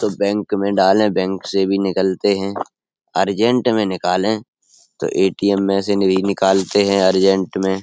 तो बैंक में डाले बैंक से भी निकलते हैं। अर्जंट में निकाले तो ए.टी.एम. में से भी निकालते हैं अर्जंट में।